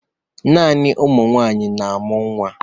Naanị ụmụ nwaanyị na-amụ nwa.